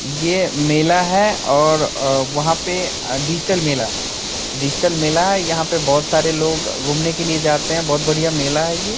ये मेला है और औ वहाँ पे डिजिटल मेला डिजिटल मेला है यहाँ पर बहुत सारे लोग घुमने के लिए जाते हैं बहुत बढ़िया मेला है ये ।